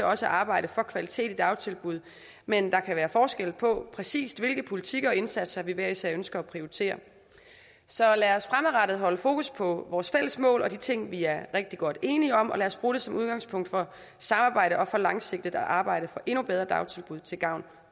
også at arbejde for kvalitet i dagtilbud men der kan være forskel på præcis hvilke politikker og indsatser vi hver især ønsker at prioritere så lad os fremadrettet holde fokus på vores fælles mål og de ting vi er rigtig godt enige om og lad os bruge det som udgangspunkt for samarbejde og for langsigtet at arbejde for endnu bedre dagtilbud til gavn